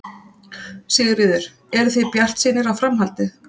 Sigríður: Eruð þið bjartsýnir á framhaldið?